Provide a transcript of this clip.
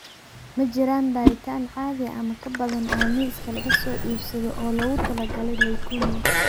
Ma jiraan baaritaan caadi ah ama ka badan oo miiska laga soo iibsado oo loogu talagalay leukemia.